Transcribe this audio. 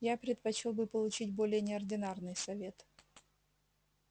я предпочёл бы получить более неординарный совет